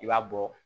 I b'a bɔ